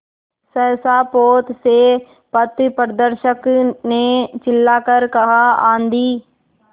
सहसा पोत से पथप्रदर्शक ने चिल्लाकर कहा आँधी